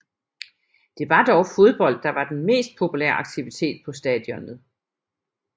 Det var dog fodbold der var den mest populære aktivitet på stadionet